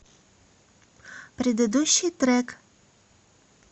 предыдущий трек